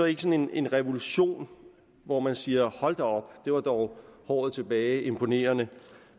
ikke sådan en revolution hvor man siger hold da op det var dog håret tilbage imponerende